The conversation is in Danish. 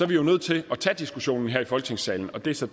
vi jo nødt til at tage diskussionen her i folketingssalen det er så